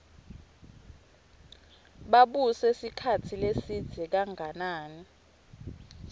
babuse sikhatsi lesidze kanganani